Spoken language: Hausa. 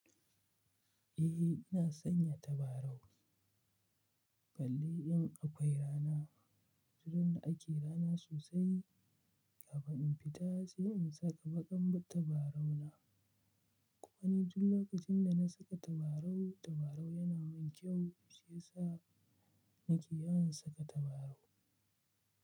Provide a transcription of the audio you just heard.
Eh ina sanya tabarau. Bale in akwai rana, tudun ake rana sosai. Kafin in fita sai in saka baƙar tabarau na. Kuma ni duk lokacin da na saka tabarau, tabarau yana min kyau shiyasa nake yawan saka tabarau.